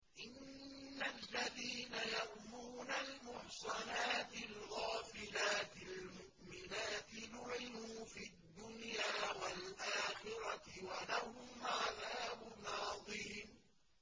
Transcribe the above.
إِنَّ الَّذِينَ يَرْمُونَ الْمُحْصَنَاتِ الْغَافِلَاتِ الْمُؤْمِنَاتِ لُعِنُوا فِي الدُّنْيَا وَالْآخِرَةِ وَلَهُمْ عَذَابٌ عَظِيمٌ